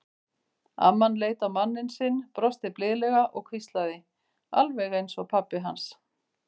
Amman leit á manninn sinn, brosti blíðlega og hvíslaði: Alveg eins og pabbi hans.